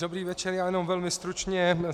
Dobrý večer, já jenom velmi stručně.